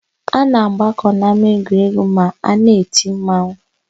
A na-agbakọ n'ámáegwuregwu ma a na-eti mmanwụ.